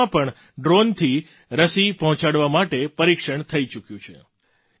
તેલંગાણામાં પણ ડ્રૉનથી રસી પહોંચાડવા માટે પરીક્ષણ થઈ ચૂક્યું છે